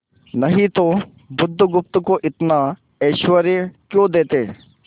नहीं तो बुधगुप्त को इतना ऐश्वर्य क्यों देते